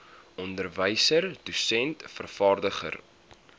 onderwyser dosent vervaardiger